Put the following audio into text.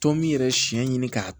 Tɔn min yɛrɛ siɲɛ ɲini k'a